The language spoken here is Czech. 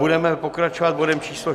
Budeme pokračovat bodem číslo